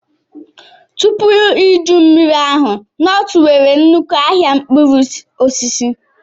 Tupu iju mmiri ahụ, Nortu nwere nnukwu ahịa mkpụrụ osisi.